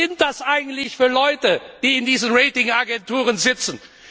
Was sind das eigentlich für Leute, die in diesen Rating Agenturen sitzen?